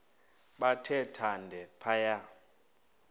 bathe thande phaya